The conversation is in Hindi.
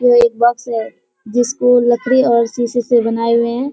ये एक बॉक्स है जिसको लकड़ी और शीशे से बनाए हुए हैं।